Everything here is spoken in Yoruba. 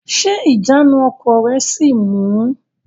Ṣé ìjánu ọkọ̀ rẹ sì ń mú u?